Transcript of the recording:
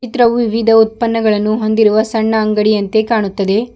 ಚಿತ್ರವು ವಿವಿಧ ಉತ್ಪನ್ನಗಳನ್ನು ಹೊಂದಿರುವ ಸಣ್ಣ ಅಂಗಡಿಯಂತೆ ಕಾಣುತ್ತದೆ.